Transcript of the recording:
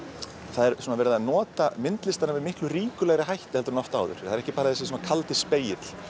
það er verið að nota myndlistina með miklu ríkulegri hætti en oft áður það er ekki bara þessi kaldi spegill